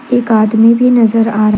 एक आदमी भी नजर आ रहा--